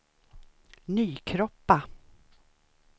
Nykroppa